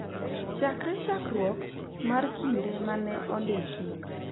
Chakre chakruok mar kinde ma ne ondiki, .